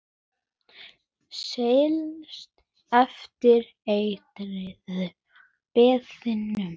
Seilist eftir eitraða peðinu.